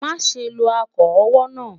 má sé ló ako owó nà